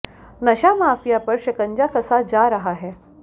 नशा माफिया पर शिकंजा कसा जा रहा है